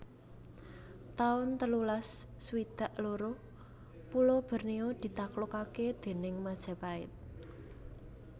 taun telulas swidak loro Pulo Bornéo ditaklukaké déning Majapahit